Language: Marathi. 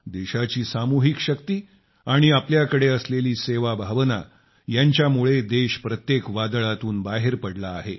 देशाची सामूहिक शक्ती आणि आपल्याकडे असलेली सेवा भावना यांच्यामुळे देश प्रत्येक वादळातून बाहेर पडला आहे